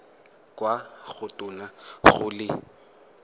kwa go tona go le